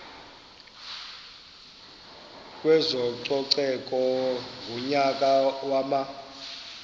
kwezococeko ngonyaka wama